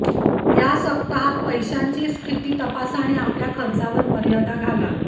या सप्ताहात पैशांची स्थिती तपासा आणि आपल्या खर्चावर मर्यादा घाला